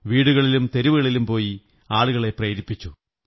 വീടുകളിലും തെരുവുകളിലും പോയി ആളുകളെ പ്രേരിപ്പിച്ചു